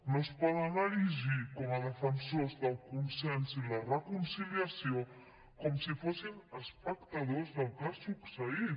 no es poden erigir com a defensors del consens i la reconciliació com si fossin espectadors del que ha succeït